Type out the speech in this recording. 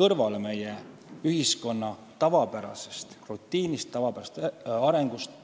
kõrvale meie ühiskonna rutiinist, tavapärasest arengust.